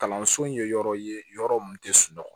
Kalanso in ye yɔrɔ ye yɔrɔ min tɛ sunɔgɔ